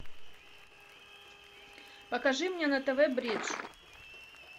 покажи мне на тв бридж